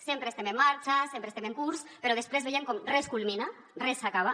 sempre estem en marxa sempre estem en curs però després veiem com res culmina res s’acaba